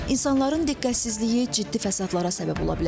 İnsanların diqqətsizliyi ciddi fəsadlara səbəb ola bilər.